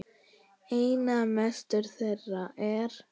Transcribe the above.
Einna mestur þeirra er